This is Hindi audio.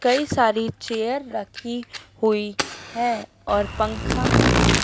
कई सारी चेयर रखी हुई है और पंखा भी--